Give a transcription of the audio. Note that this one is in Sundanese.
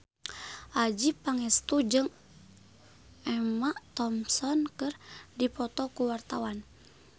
Adjie Pangestu jeung Emma Thompson keur dipoto ku wartawan